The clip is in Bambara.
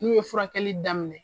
N'u ye furakɛli daminɛ.